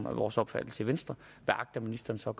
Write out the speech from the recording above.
er vores opfattelse i venstre hvad agter ministeren så at